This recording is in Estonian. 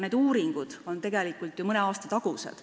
Need uuringud on ju mõne aasta tagused.